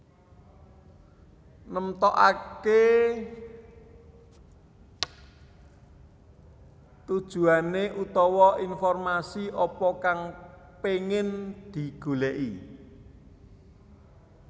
Nemtokake tujuane utawa informasi apa kang pengin digoleki